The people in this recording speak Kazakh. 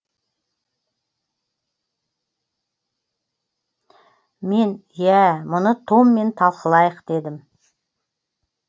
мен иә мұны томмен талқылайық дедім